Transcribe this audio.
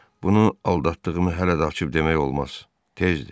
"Bunu aldatdığımı hələ də açıb demək olmaz, tezdir."